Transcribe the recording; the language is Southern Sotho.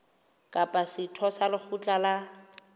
kapa setho sa lekgotla la